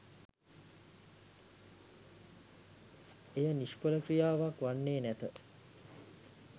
එය නිශ්ඵල ක්‍රියාවක් වන්නේ නැත.